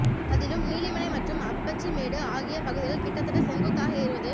அதிலும் நீலிமலை மற்றும் அப்பச்சி மேடு ஆகிய பகுதிகள் கிட்டத்தட்ட செங்குத்தாக ஏறுவது